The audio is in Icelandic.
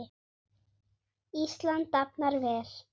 Ísland dafnar vel.